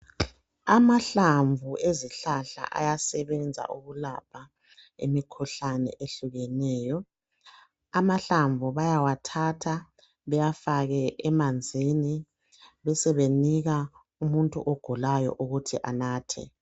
Amahlamvu ezihlahla ayasebenza ukulapha imikhuhlane ehlukeneyo amahlamvu bayawathatha bewafake emanzini besebenika umuntu ogulayo ukuthi anathe.